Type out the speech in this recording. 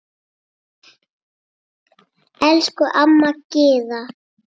Elsku amma Gyða.